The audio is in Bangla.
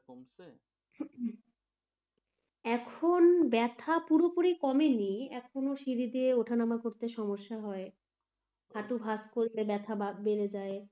এখন ব্যাথা পুরোপুরি কমেনি এখনও সিড়ি দিয়ে ওঠানামা করতে কষ্ট হয় হাঁটু ভাঁজ করতে ব্যাথা বেড়ে যায়,